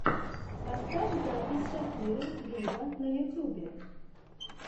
поставь запись шакиры виво на ютюбе